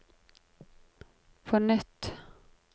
på nytt